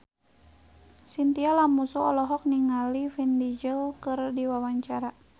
Chintya Lamusu olohok ningali Vin Diesel keur diwawancara